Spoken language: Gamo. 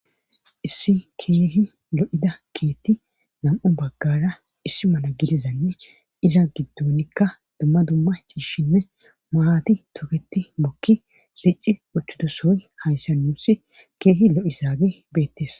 Issi keehi lo'ida keetti nam'u baggara issi mala gidizanne iza giddonikka dumma dumma ciishshinne maati toketi bokki bicci ochudosooy hayssa nuussi keehi lo'isaage beettes